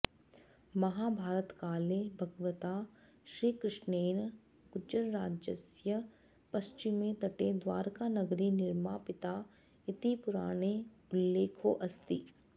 महाभारतकाले भगवता श्रीकृष्णेन गुर्जरराज्यस्य पश्चिमे तटे द्वारकानगरी निर्मापिता इति पुराणे उल्लेखोऽस्ति